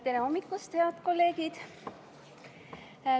Tere hommikust, head kolleegid!